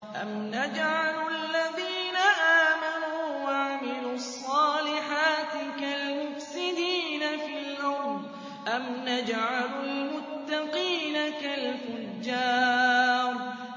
أَمْ نَجْعَلُ الَّذِينَ آمَنُوا وَعَمِلُوا الصَّالِحَاتِ كَالْمُفْسِدِينَ فِي الْأَرْضِ أَمْ نَجْعَلُ الْمُتَّقِينَ كَالْفُجَّارِ